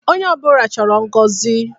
Onye ọbụla chọrọ ngọzi